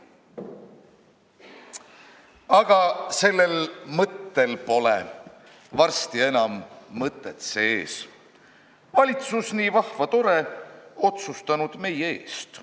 Aga sellel mõttel pole varsti enam mõtet sees, valitsus nii vahva, tore otsustanud meie eest.